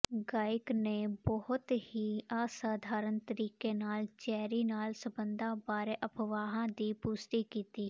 ਗਾਇਕ ਨੇ ਬਹੁਤ ਹੀ ਅਸਧਾਰਨ ਤਰੀਕੇ ਨਾਲ ਚੈਰੀ ਨਾਲ ਸਬੰਧਾਂ ਬਾਰੇ ਅਫਵਾਹਾਂ ਦੀ ਪੁਸ਼ਟੀ ਕੀਤੀ